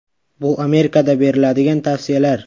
Bu Amerikada beriladigan tavsiyalar.